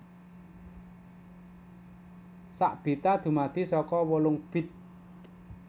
Sak bita dumadi saka wolung bit